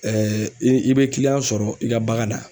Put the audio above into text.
i i bɛ sɔrɔ i ka bagan na.